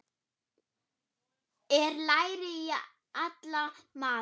Er læri í alla mata?